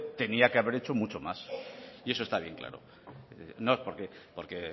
tenía que haber hecho mucho más y eso está bien claro no porque